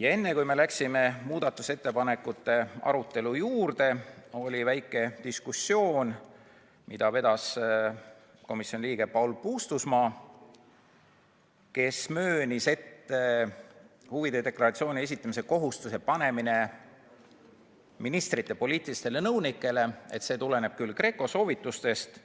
Ja enne, kui me läksime muudatusettepanekute arutelu juurde, oli väike diskussioon, mida vedas komisjoni liige Paul Puustusmaa, kes möönis, et huvide deklaratsiooni esitamise kohustuse panemine ministrite poliitilistele nõunikele tuleneb küll GRECO soovitustest,